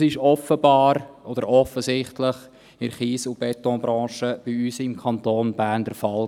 Dies war offensichtlich in der Kies- und Betonbranche bei uns im Kanton Bern der Fall.